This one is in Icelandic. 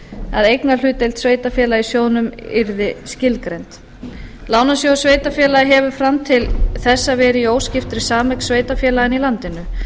að eignarhlutdeild sveitarfélaga í sjóðnum yrði skilgreind lánasjóður sveitarfélaga hefur fram til þessa verið í óskiptri sameign sveitarfélaganna í landinu